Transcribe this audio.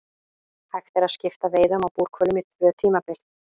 Hægt er að skipta veiðum á búrhvölum í tvö tímabil.